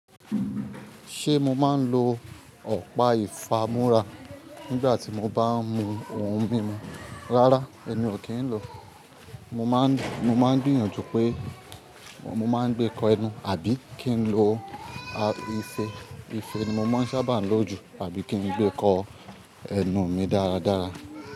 Ṣe mo maa n lo ọ̀pá ìfámúrá nígbà tí mo bá ń mu ohun mímu? Rárá, èmi ò kí n lò. Mo man mo máa ń gbìyànjú pé mo máa ń gbé kọ ẹnu àbí kí n lo ìfẹ́ ìfẹ́ ni mo máa ń sábà lò jù àbí kí n gbé kọ ẹnu mi dáradára.